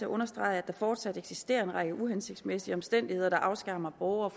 at understrege at der fortsat eksisterer en række uhensigtsmæssige omstændigheder der afskærer borgere